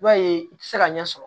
I b'a ye i tɛ se ka ɲɛ sɔrɔ